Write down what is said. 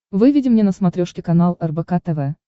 выведи мне на смотрешке канал рбк тв